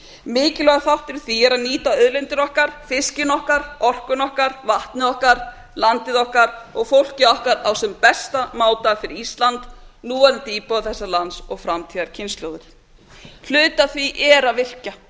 mikilvægur þáttur í því er að nýta auðlindir okkar fiskinn okkar orkuna okkar vatnið okkar landið okkar og fólkið okkar á sem bestan máta fyrir ísland núverandi íbúa þessa lands og framtíðarkynslóðir hluti af því er að virkja